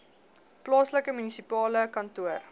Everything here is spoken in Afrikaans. plaaslike munisipale kantoor